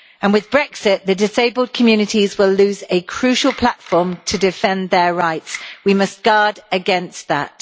With Brexit, the disabled communities will lose a crucial platform to defend their rights. We must guard against that.